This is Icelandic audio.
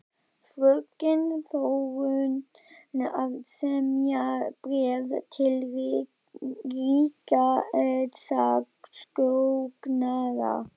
Fröken Þórunn að semja bréf til ríkissaksóknara.